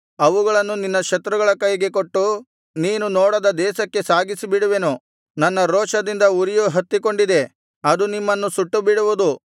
ಅವುಗಳನ್ನು ನಿನ್ನ ಶತ್ರುಗಳ ಕೈಗೆ ಕೊಟ್ಟು ನೀನು ನೋಡದ ದೇಶಕ್ಕೆ ಸಾಗಿಸಿಬಿಡುವೆನು ನನ್ನ ರೋಷದಿಂದ ಉರಿಯು ಹತ್ತಿಕೊಂಡಿದೆ ಅದು ನಿಮ್ಮನ್ನು ಸುಟ್ಟುಬಿಡುವುದು